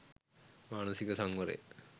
මානසික සංවරය,